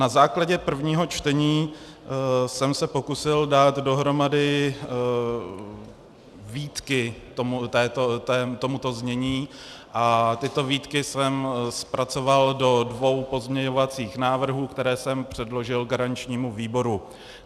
Na základě prvního čtení jsem se pokusil dát dohromady výtky tomuto znění a tyto výtky jsem zpracoval do dvou pozměňovacích návrhů, které jsem předložil garančnímu výboru.